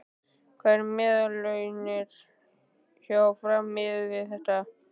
Hver eru meðallaunin hjá Fram miðað við þetta?